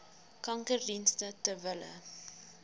kankerdienste ter wille